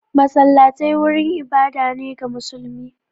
Masallatai wurin ibada ne ga musulmi